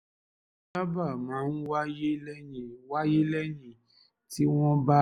èyí sábà máa ń wáyé lẹ́yìn wáyé lẹ́yìn tí wọ́n bá